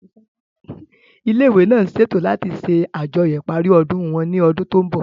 Ilé ìwé náà ń ṣètò láti ṣe àjọyọ̀ ìparí ọdún wọn ní ọdún tó ń bọ̀